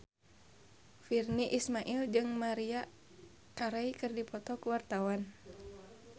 Virnie Ismail jeung Maria Carey keur dipoto ku wartawan